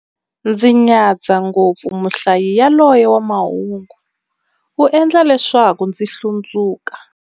Ndzi nyadza ngopfu muhlayi yaloye wa mahungu, u endla leswaku ndzi hlundzuka.